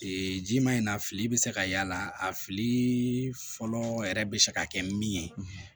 Ee ji ma in na fili bɛ se ka y'a la a fili fɔlɔ yɛrɛ bɛ se ka kɛ min ye